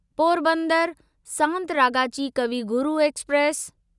Porbandar Santragachi Kavi Guru express